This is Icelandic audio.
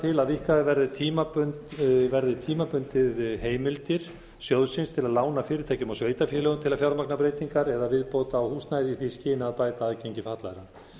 til að víkkaður verði tímabundið heimildir sjóðsins til að lána fyrirtækjum og sveitarfélögum til að fjármagna breytingar eða viðbót á húsnæði í því skyni að bæta aðgengi fatlaðra